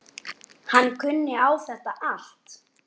Hann kunni á þetta allt.